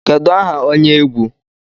Kedu aha onye egwu egwu